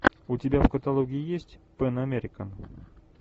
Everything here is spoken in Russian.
у тебя в каталоге есть пэн американ